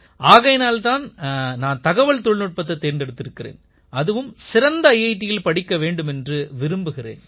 ஆகையினால் தான் நான் தகவல் தொழில்நுட்பத்தைத் தேர்ந்தெடுத்திருக்கிறேன் அதுவும் சிறந்த ஐஐடியில் படிக்க வேண்டும் என்று விரும்புகிறேன்